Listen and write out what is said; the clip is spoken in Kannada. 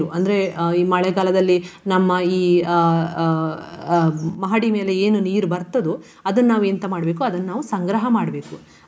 ಅಂದ್ರೆ ಈ ಮಳೆಗಾಲದಲ್ಲಿ ನಮ್ಮ ಈ ಅಹ್ ಅಹ್ ಮಹಡಿ ಮೇಲೆ ಏನು ನೀರು ಬರ್ತದೋ ಅದನ್ನು ನಾವು ಎಂತ ಮಾಡ್ಬೇಕು ಅದನ್ನು ನಾವು ಸಂಗ್ರಹ ಮಾಡ್ಬೇಕು .